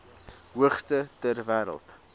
hoogste ter wêreld